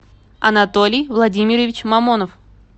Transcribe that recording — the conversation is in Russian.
анатолий владимирович мамонов